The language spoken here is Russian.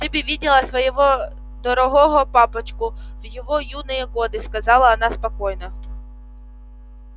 ты бы видела своего дорогого папочку в его юные годы сказала она спокойно